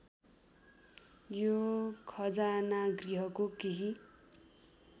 यो खजानागृहको केही